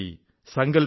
Sankalp 95